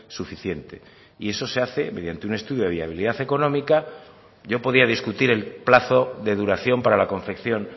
suficiente y eso se hace mediante un estudio de viabilidad económica yo podía discutir el plazo de duración para la confección